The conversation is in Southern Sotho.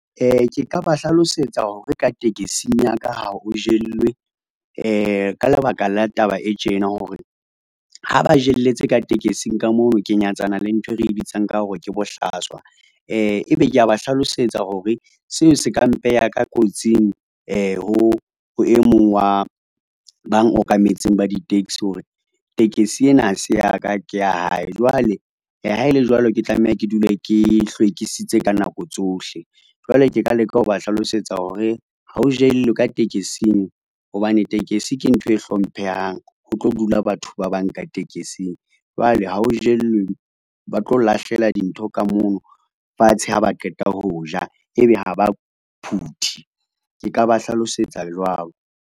Ke ka ba hlalosetsa hore ka tekesing ya ka ha o jellwe ka lebaka la taba e tjena hore, ha ba jelletse ka tekesing ka moo ke nyatsana le nthwe re bitsang ka hore ke bohlaswa. Ebe ke a ba hlalosetsa hore seo se ka mpeha ka kotsing ho e mong wa bang okametseng ba di-taxi hore tekesi ena ha se ya ka ke ya hae. Jwale ha e le jwalo, ke tlameha ke dule ke hlwekisitse ka nako tsohle jwale ke ka leka ho ba hlalosetsa hore ha o jellwe ka tekesing hobane tekesi ke ntho e hlomphehang, ho tlo dula batho ba bang ka tekesing, jwale ha o jellwe. Ba tlo lahlela dintho ka mono fatshe ha ba qeta ho ja ebe ha ba phuthi ke ka ba hlalosetsa jwalo.